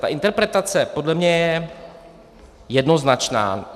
Ta interpretace podle mě je jednoznačná.